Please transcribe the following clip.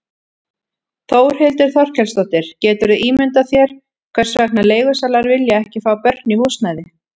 Þórhildur Þorkelsdóttir: Geturðu ímyndað þér hvers vegna leigusalar vilja ekki fá börn í húsnæði?